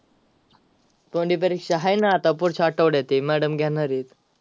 तोंडी परीक्षा आहे ना आता पुढच्या आठवड्यात आहे madam घेणार आहेत.